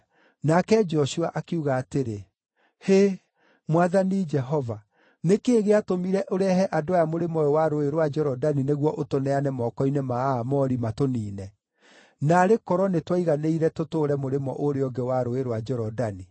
Nake Joshua akiuga atĩrĩ, “Hĩ, Mwathani Jehova, nĩ kĩĩ gĩatũmire ũrehe andũ aya mũrĩmo ũyũ wa Rũũĩ rwa Jorodani nĩguo ũtũneane moko-inĩ ma Aamori, matũniine? Naarĩ korwo nĩtwaiganĩire tũtũũre mũrĩmo ũrĩa ũngĩ wa Rũũĩ rwa Jorodani!